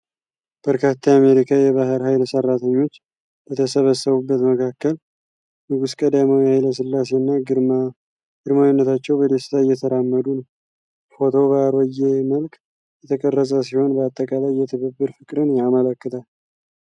በርካታ የአሜሪካ የባሕር ኃይል ሠራተኞች በተሰበሰቡበት መካከል። ንጉሥ ቀዳማዊ ኃይለ ሥላሴና ግርማዊነታቸው በደስታ እየተራመዱ ነው። ፎቶው በአሮጌ መልክ የተቀረጸ ሲሆን፣ በአጠቃላይ የትብብር ፍቅርን ያመለክታል።